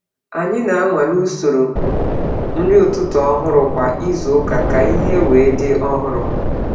Anyị na-anwale usoro nri ụtụtụ ọhụrụ kwa izu ụka ka ihe wee dị ọhụrụ.